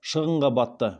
шығынға батты